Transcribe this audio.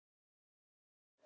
Það er öflugt.